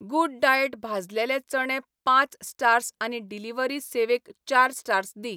Good diet भाजलेले चणे पाच स्टार्स आनी डिलिव्हरी सेवेक चार स्टार्स दी.